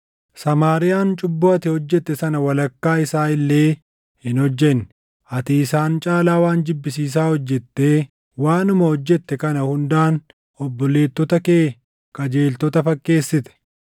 Samaariyaan cubbuu ati hojjette sana walakkaa isaa illee hin hojjenne. Ati isaan caalaa waan jibbisiisaa hojjettee waanuma hojjette kana hundaan obboleettota kee qajeeltota fakkeessite.